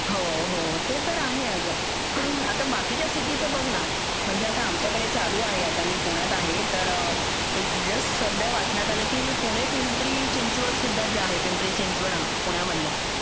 हो हो ते तर आहे अगं आता बाकीच्या सिटीचं बघ ना म्हणजे आता आमच्याकडे चालू आहे आता मी पुण्यात आहे तर एक जस्ट सध्या वाचण्यात आलं की पुणे पिंपरी चिंचवड सुद्धा जे पिंपरी चिंचवड आहे पुण्या मधल